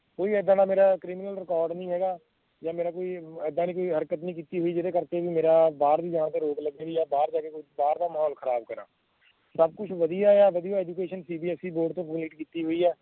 ਕੋਈ ਏਦਾਂ ਦਾ ਮੇਰਾ criminal record ਨੀ ਹੈਗਾ ਜਾਂ ਮੇਰਾ ਕੋਈ ਏਦਾਂ ਦੀ ਕੋਈ ਹਰਕਤ ਨੀ ਕਿੱਤੀ ਹੋਈ ਜਿਹੜੇ ਕਰਕੇ ਮੇਰਾ ਬਾਹਰ ਨੂੰ ਜਾਣ ਤੇ ਰੋਕ ਲੱਗੇ ਵੀ ਯਾਂ ਬਾਹਰ ਜਾ ਕੇ ਬਾਹਰ ਦਾ ਮਾਹੌਲ ਖਰਾਬ ਕਰਾਂ ਸਬ ਕੁਛ ਵਧੀਆ ਆ ਵਧੀਆ educationCBSE ਬੋਰਡ ਤੋਂ ਕਿੱਤੀ ਹੋਈ ਆ